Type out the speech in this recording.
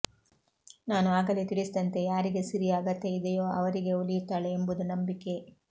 ನಾನು ಆಗಲೇ ತಿಳಿಸಿದಂತೆ ಯಾರಿಗೆ ಸಿರಿಯ ಅಗತ್ಯ ಇದೆಯೋ ಅವರಿಗೆ ಒಲಿಯು ತ್ತಾಳೆ ಎಂಬುದು ನಂಬಿಕೆ